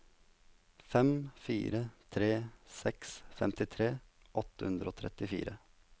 fem fire tre seks femtifire åtte hundre og trettifire